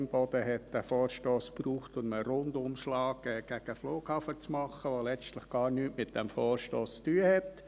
Imboden hat diesen Vorstoss gebraucht, um einen Rundumschlag gegen den Flughafen zu machen, welcher letztlich gar nichts mit diesem Vorstoss zu tun hat.